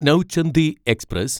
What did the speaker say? Nauchandi express